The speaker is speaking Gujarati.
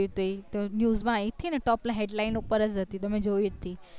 news માં આયી હતી ને top headlines ઉપર જ હાતી તો મેં જોઈ હતી